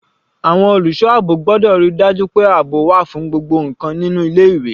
Àwọn olùṣọ́ àbò gbọ́dọ̀ ríi dájú pé àbò wà fún gbogbo ǹkan nínú ilé ìwé.